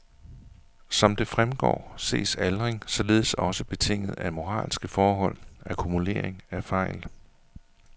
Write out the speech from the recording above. Som det fremgår ses aldring således også betinget af moralske forhold, akkumulering af fejl.